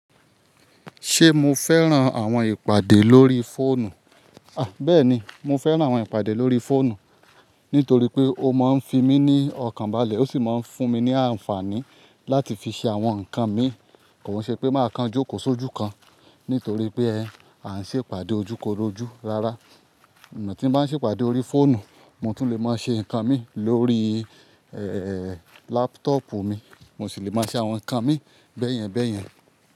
Ṣé mo fẹ́ran àwọn ìpàdé lórí fóònù? Bẹ́ẹ̀ni, mo fẹ́ran àwọn ìpàdé lórí fóònù nítorí pé ó máa ń fi mí ní ọkàn balẹ̀ ó sì máa ń fún mi ní àǹfààní láti fi ṣe àwọn nǹkan mi. Kò ń ṣe pé màá kan jókòó sójú kan nítorí pé à ń ṣe ìpàdé ojúkorojú. Rárá, ìgbà tí mo bá ń ṣe ìpàdé lórí fóònù, mo tún lè máa ṣe nǹkan mi lórí, lápútọ́pù mi, mo sì lè máa ṣe àwọn nǹkan mi bẹ́ẹ̀yẹn bẹ́ẹ̀yẹn.